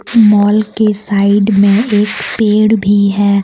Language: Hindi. माल के साइड में एक पेड़ भी है।